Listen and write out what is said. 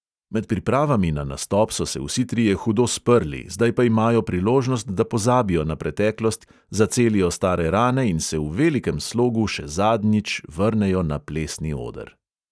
Med pripravami na nastop so se vsi trije hudo sprli, zdaj pa imajo priložnost, da pozabijo na preteklost, zacelijo stare rane in se v velikem slogu še zadnjič vrnejo na plesni oder.